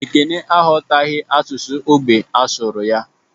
Ekene aghọtaghị asụsụ ógbè a sụrụ ya